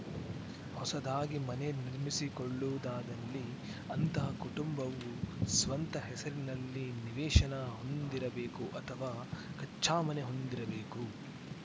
ಹೊಸದಾಗಿ ಮನೆ ನಿರ್ಮಿಸಿಕೊಳ್ಳುವುದಾದಲ್ಲಿ ಅಂತಹ ಕುಟುಂಬವು ಸ್ವಂತ ಹೆಸರಿನಲ್ಲಿ ನಿವೇಶನ ಹೊಂದಿರಬೇಕು ಅಥವಾ ಕಚ್ಛಾಮನೆ ಹೊಂದಿರಬೇಕು